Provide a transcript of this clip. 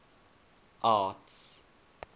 arts